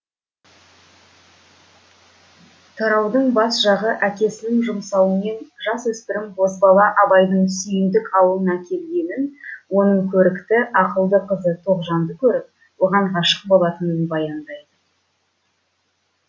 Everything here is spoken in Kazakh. тараудың бас жағы әкесінің жұмсауымен жасөспірім бозбала абайдың сүйіндік ауылына келгенін оның көрікті ақылды қызы тоғжанды көріп оған ғашық болатынын баяндайды